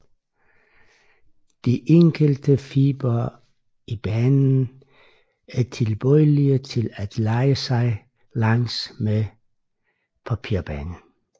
De enkelte fibre i banen er tilbøjelige til at lejre sig langs med papirbanen